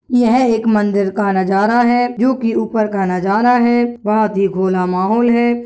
यह एक मंदिर का नजारा है जो की ऊपर का नजारा है बहुत ही खुल्ला महोल है।